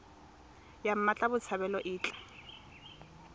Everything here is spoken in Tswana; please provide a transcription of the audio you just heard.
ya mmatla botshabelo e tla